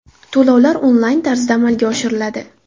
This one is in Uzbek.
To‘lovlar onlayn tarzda amalga oshiriladi.